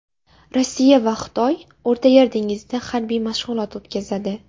Rossiya va Xitoy O‘rtayer dengizida harbiy mashg‘ulot o‘tkazadi.